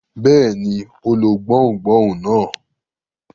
Bẹ́ẹ̀ ni, ó lo gbohùngbohùn náà.